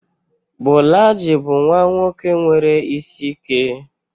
Bolaji bụ nwa nwoke nwere isi ike.